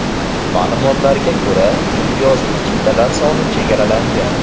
Ma’lumotlarga ko‘ra, imtiyozli chiptalar soni chegaralangan.